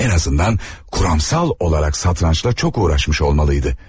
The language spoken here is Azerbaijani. Ən azından kuramsal olaraq satrançla çox uğraşmış olmalıydı.